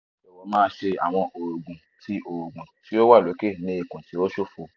jọwọ ma ṣe awọn oogun ti o oogun ti o wa loke ni ikun ti o ṣofo